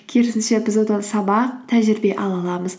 керісінше біз одан сабақ тәжірибе ала аламыз